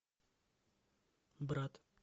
брат